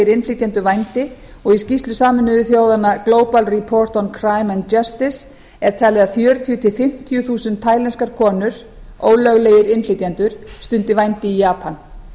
innflytjendur vændi og í skýrslu sameinuðu þjóðanna global report on crime and justice er talið að fjörutíu þúsund til fimmtíu þúsund tælenskar konur ólöglegir innflytjendur stundi vændi í japan